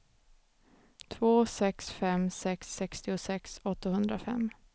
två sex fem sex sextiosex åttahundrafem